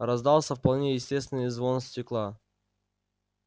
раздался вполне естественный звон стекла